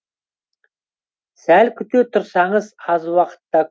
сәл күте тұрсаңыз аз уақытта